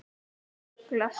Þú ruglar.